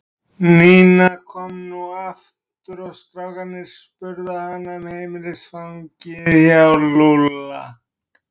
Nína kom nú aftur fram og strákarnir spurðu hana um heimilisfangið hjá Lúlla.